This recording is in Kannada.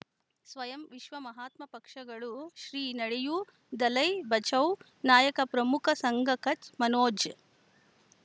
ಸ್ವಯಂ ವಿಶ್ವ ಮಹಾತ್ಮ ಪಕ್ಷಗಳು ಶ್ರೀ ನಡೆಯೂ ದಲೈ ಬಚೌ ನಾಯಕ ಪ್ರಮುಖ ಸಂಘ ಕಚ್ ಮನೋಜ್